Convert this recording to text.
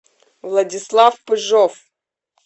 владислав пыжов